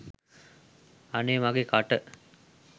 අනේ මගෙ කට!